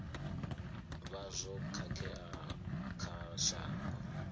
vha zwo khakhea kha shango